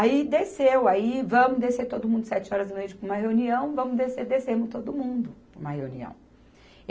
Aí desceu, aí vamos descer todo mundo sete horas da noite para uma reunião, vamos descer, descemos todo mundo para uma reunião.